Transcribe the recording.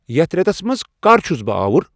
یتھ ریتس منز کر چُھس بہٕ آوُر ؟